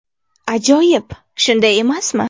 Ajoyib, shunday emasmi?